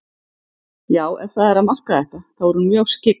Já, ef það er að marka þetta, þá er hún mjög skyggn.